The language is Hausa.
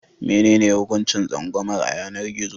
Menene hukuncin tsangwamar a yanar gizo?